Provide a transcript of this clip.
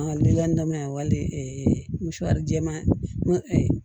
liban wale jɛman